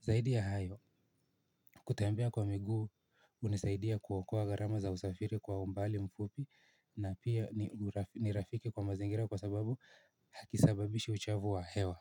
Zaidi ya hayo kutembea kwa miguu hunisaidia kuokoa gharama za usafiri kwa umbali mfupi na pia nirafiki kwa mazingira kwa sababu hakusababishi uchovu wa hewa.